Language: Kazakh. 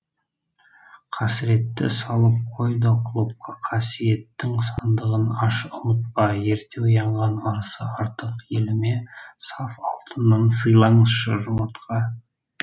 қасіретті салып қой да құлыпқа қасиеттің сандығын аш ұмытпа ерте оянған ырысы артық еліме саф алтыннан сыйлаңызшы жұмыртқа